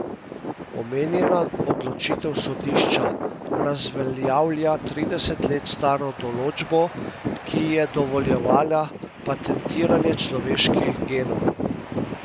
Omenjena odločitev sodišča razveljavlja trideset let staro določbo, ki je dovoljevala patentiranje človeških genov.